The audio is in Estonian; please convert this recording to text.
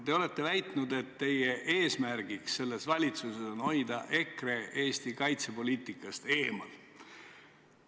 Te olete väitnud, et teie eesmärk selles valitsuses on hoida EKRE Eesti kaitsepoliitikast eemal.